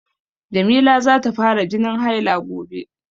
Jamila za ta fara jinin haila gobe.